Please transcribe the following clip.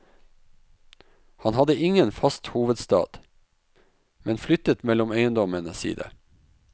Han hadde ingen fast hovedstad, men flyttet mellom eiendommene sine.